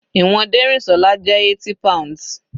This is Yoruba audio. Ìwọ̀n Derinsola jẹ́ 80 pounds.